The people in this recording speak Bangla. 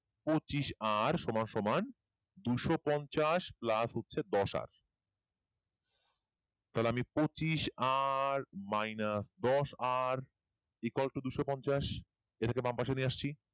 পচিশ r সমান সমান দুইশ পঞ্চাশ plus হচ্ছে দশ r তাহলে আমি পচিশ r minus দশ r equal to দুইশ পঞ্চাশ এটাকে বাম পাশে নিয়ে আসছি